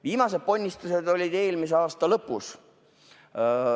Viimased ponnistused olid eelmise aasta lõpus.